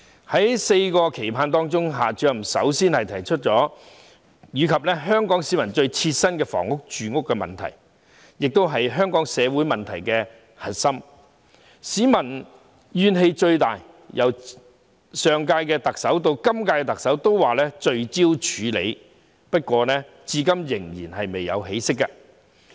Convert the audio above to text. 在"四個期盼"當中，夏主任首先提出香港市民最切身的住屋問題，這亦是香港社會問題的核心，所引起的民怨最大，更是由上屆特首至今屆特首均提出要聚焦處理的事宜，不過至今依然未有起色。